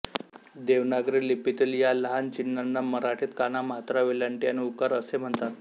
देवनागरी लिपीतील या लहान चिन्हांना मराठीत काना मात्रा वेलांटी आणि उकार असे म्हणतात